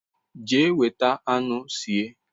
Jea weta anu sie